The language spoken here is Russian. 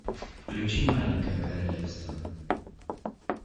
включи маленькое королевство